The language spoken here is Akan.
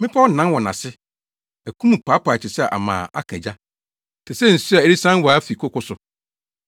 Mmepɔw nan wɔ nʼase, aku mu paapae te sɛ ama a aka ogya, te sɛ nsu a ɛresian waa fi koko so.